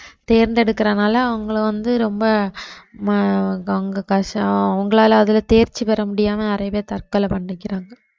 தேர்ந்தெடுக்கறதுனால அவங்களை வந்து ரொம்ப வ~ உங்களால அதுல தேர்ச்சி பெற முடியாமல் நிறைய பேர் தற்கொலை பண்ணிக்கிறாங்க